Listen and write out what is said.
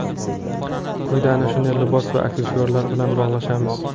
Quyida ana shunday libos va aksessuarlar bilan bo‘lishamiz.